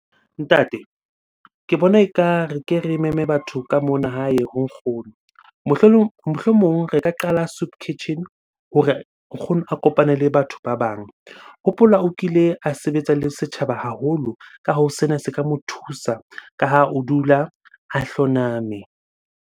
Ntate ke bona ekare ke re meme batho ka mona hae ho nkgono. Mohlomong re ka qala soup kitchen hore nkgono a kopane le batho ba bang. Hopola o kile a sebetsa le setjhaba haholo. Ka hoo, sena se ka mo thusa ka ha o dula a hloname.